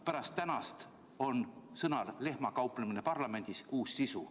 Pärast tänast on sõnal "lehmakauplemine" parlamendis uus sisu.